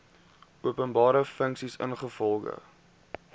openbare funksie ingevolge